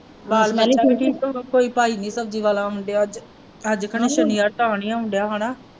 ਕੋਈ ਭਾਈ ਨਹੀਂ ਸਬਜ਼ੀ ਵਾਲਾ ਆਉਣ ਡੇਆ ਅੱਜ। ਅੱਜ ਖਰੇ ਸ਼ਨੀਵਾਰ ਤਾਂ ਨਹੀਂ ਆਉਣ ਡੇਆ ਹਣਾ।